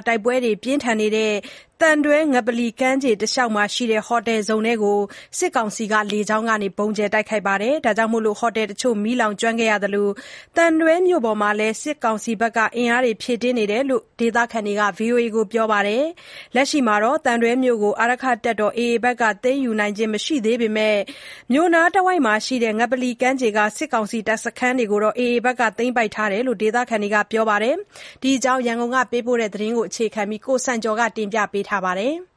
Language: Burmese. း တိုက်ပွဲတွေ ပြင်းထန်နေတဲ့ သံတွဲ ငပလီကမ်းခြေတလျောက်မှာရှိတဲ့ ဟိုတယ်ဇုန်ထဲကို စစ်ကောင်စီက လေကြောင်းကနေ ဗုံးကြဲနေတာကြောင့် ဟိုတယ် တချို့ မီးလောင်နေတာရှိသလို သံတွဲမြို့ပေါ်မှာလည်း စစ်အင်အား ဖြည့်တင်းထားတယ်လို့ ဒေသခံတွေက ဗွီအိုအေကို ပြောပါတယ်။ လက်ရှိမှာတော့ သံတွဲမြို့ကို အာရက္ခတပ်တော် AA က သိမ်းယူနိုင်ခြင်း မရှိသေးပေမဲ့ မြို့နားတဝိုက် ငပလီကမ်းခြေက စစ်ကောင်စီတပ်စခန်းတွေကို သိမ်းပိုက်ထားတယ်လို့ ဒေသခံတွေက ပြောပါတယ်။ ဒီအကြောင်း သတင်းပေးပို့ချက်ကို အခြေခံပြီး ကိုစံကျော်က တင်ပြပါမယ်။